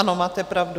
Ano, máte pravdu.